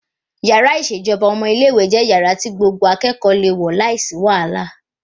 Yàrá ìṣèjọba ọmọ ilé ìwé jẹ́ yàrá tí gbogbo akẹ́kọ̀ọ́ le wọ̀ láìsí wàhálà